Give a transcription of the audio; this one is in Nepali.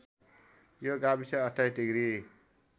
यो गाविस २८ डिग्री